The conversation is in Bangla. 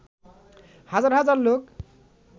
হাজার হাজার লোক